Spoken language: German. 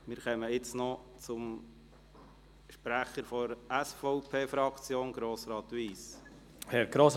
Für die Fraktion der SVP erteile ich Grossrat Wyss das Wort.